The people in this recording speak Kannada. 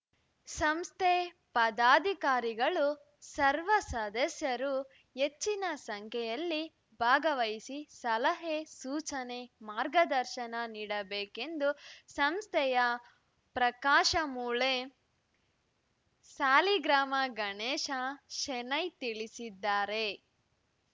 ಸಂಸ್ಥೆ ಪದಾಧಿಕಾರಿಗಳು ಸರ್ವ ಸದಸ್ಯರು ಹೆಚ್ಚಿನ ಸಂಖ್ಯೆಯಲ್ಲಿ ಭಾಗವಹಿಸಿ ಸಲಹೆ ಸೂಚನೆ ಮಾರ್ಗದರ್ಶನ ನೀಡಬೇಕೆಂದು ಸಂಸ್ಥೆಯ ಪ್ರಕಾಶ ಮೂಳೆ ಸಾಲಿಗ್ರಾಮ ಗಣೇಶ ಶೆಣೈ ತಿಳಿಸಿದ್ದಾರೆ